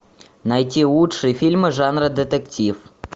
найти лучшие фильмы жанра детектив